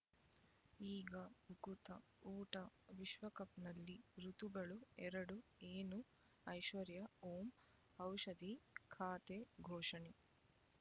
ಈಗ ಉಕುತ ಊಟ ವಿಶ್ವಕಪ್‌ನಲ್ಲಿ ಋತುಗಳು ಎರಡು ಏನು ಐಶ್ವರ್ಯಾ ಓಂ ಔಷಧಿ ಖಾತೆ ಘೋಷಣೆ